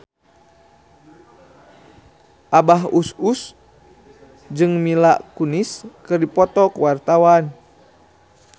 Abah Us Us jeung Mila Kunis keur dipoto ku wartawan